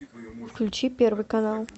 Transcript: включи первый канал